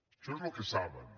això és el que saben